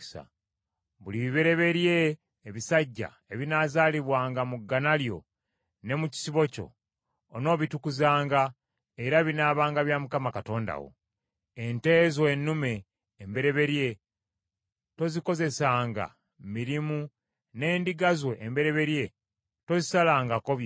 Buli bibereberye ebisajja ebinaazaalibwanga mu ggana lyo ne mu kisibo kyo, onoobitukuzanga era binaabanga bya Mukama Katonda wo. Ente zo ennume embereberye tozikozesanga mirimu, n’endiga zo embereberye tozisalangako byoya.